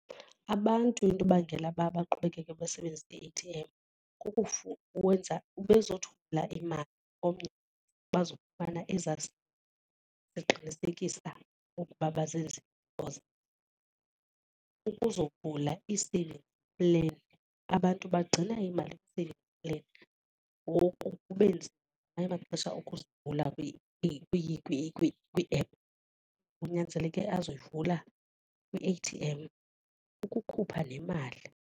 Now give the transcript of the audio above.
Abantu into ebangela uba baqhubekeke basebenzi i-A_T_M uwenza ube zokuthumela imali omnye bazokufana ezaa eziqinisekisa ukuba ukuzovula ii-saving plan. Abantu bagcina iimali kwii-saving plan ngoku kube nzima nagamanye amaxesha ukuyivula kwii-app, kunyanzeleke uzoyivula kwi-A_T_M ukukhupha nemali.